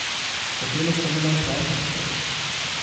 Hotela sem le proč od tod.